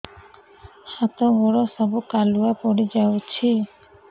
ହାତ ଗୋଡ ସବୁ କାଲୁଆ ପଡି ଯାଉଛି